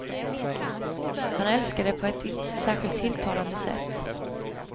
Han älskar det på ett inte särskilt tilltalande sätt.